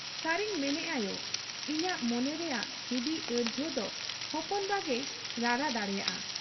ᱥᱟᱹᱨᱤᱧ ᱢᱮᱱᱮᱜ ᱟ ᱭᱚ ! ᱤᱧᱟᱹᱜ ᱢᱚᱱᱮ ᱨᱮᱭᱟᱜ ᱦᱤᱫᱤᱡ ᱟᱹᱲᱡᱷᱟᱹᱣ ᱫᱚ ᱦᱚᱯᱚᱱ ᱵᱟ ᱜᱮᱭ ᱨᱟᱲᱟ ᱫᱟᱲᱮᱭᱟᱜ ᱟ ᱾